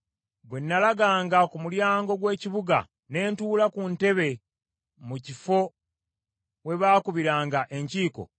“Bwe nalaganga ku mulyango gw’ekibuga ne ntuula ku ntebe mu kifo we baakubiranga enkiiko,